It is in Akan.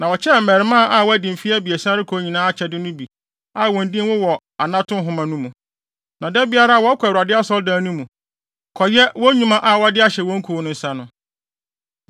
Na wɔkyɛɛ mmarimaa a wɔadi mfe abiɛsa rekɔ nyinaa akyɛde no bi a wɔn din wɔ wɔn anato nhoma mu, na da biara wɔkɔ Awurade Asɔredan mu, kɔyɛ wɔn nnwuma a wɔde ahyɛ wɔn kuw no nsa no.